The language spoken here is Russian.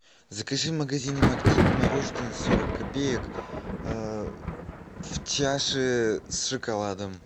закажи в магазине магнит мороженое сорок копеек в чаше с шоколадом